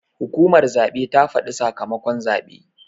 Hukumar zaɓe ta faɗa sakamakon zaɓe.